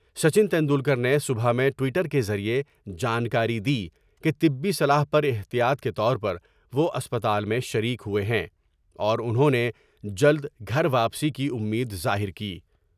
سچن ٹینڈولکر نے صبح میں ٹوئٹر کے ذریعے جانکاری دی کہ طبی صلاح پر احتیاط کے طور پر وہ اسپتال میں شریک ہوۓ ہیں اور انہوں نے جلد گھر واپسی کی امید ظاہر کی ۔